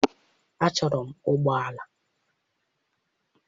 Achọrọ m ụgbọ ala.